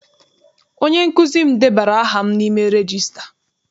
Onye nkụzi m debara aha m n'ime regista.